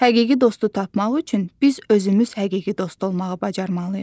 Həqiqi dostu tapmaq üçün biz özümüz həqiqi dost olmağı bacarmalıyıq.